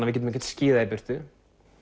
við getum ekkert skíðað í burtu